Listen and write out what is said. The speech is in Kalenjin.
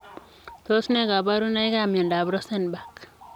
Tos ne kabarunoik ak miondoop Rosenbak ?